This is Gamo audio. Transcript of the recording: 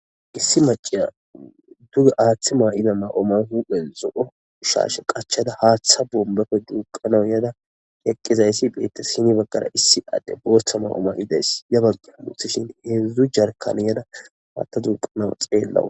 Issi maciya duga aaththi maa'ida ma'oman huphe zo'o ushaashe qachada haaththa bombafe duuqanawu yada yeqqizayssi beetta sini baggara issi adde booththa ma'o ma'idays yabagge musishin heedzdzu jarkani yada matta dunqanaw xeellawu.